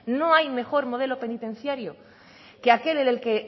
que aquel en el que